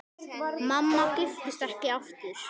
Mamma giftist ekki aftur.